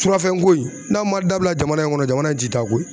Surafɛnko in n'a ma dabila jamana in kɔnɔ jamana in ti ta koyi